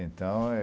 Então, é...